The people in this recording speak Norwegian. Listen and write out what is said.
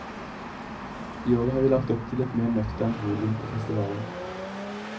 I år har vi lagt opp til et mer nøkternt volum på festivalen.